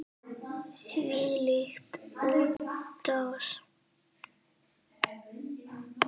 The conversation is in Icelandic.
Þvílík útrás!